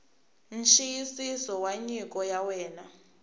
nxiyisiso wa nyiko ya wena